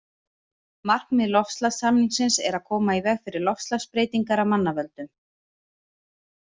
Markmið loftslagssamningsins er að koma í veg fyrir loftslagsbreytingar af mannavöldum.